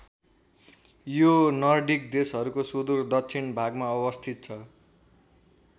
यो नर्डिक देशहरूको सुदूर दक्षिण भागमा अवस्थित छ।